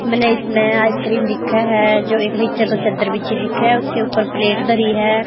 मने इसमें आइसक्रीम दिखे है जो एक नीचे तो चद्दर बिछी दिखे उसके ऊपर प्लेट धरि है।